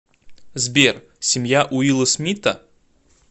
сбер семья уилла смита